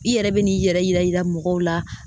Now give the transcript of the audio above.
I yɛrɛ bɛn'i yɛrɛ yira yira mɔgɔw la